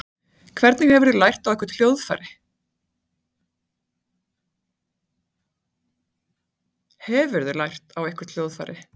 Hefurðu lært á eitthvert hljóðfæri?